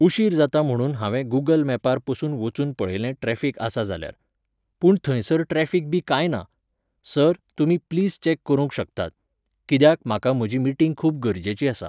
उशीर जाता म्हणून हांवें गुगल मॅपार पसून वचून पळयलें ट्रॅफीक आसा जाल्यार. पूण थंयसर ट्रॅफीक बी कांय ना. सर, तुमी प्लीज चेक करूंक शकतात. कित्याक, म्हाका म्हजी मिटींग खूब गरजेची आसा.